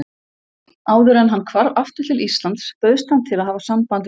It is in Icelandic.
Áðuren hann hvarf aftur til Íslands bauðst hann til að hafa samband við